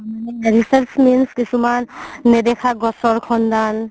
মানে কিছুমান নেদেখা গছৰ সন্ধান